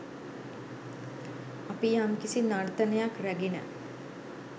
අපි යම්කිසි නර්තනයක් රැගෙන